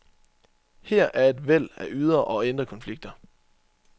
Her er et væld af ydre og indre konflikter.